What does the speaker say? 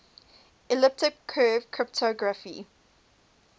elliptic curve cryptography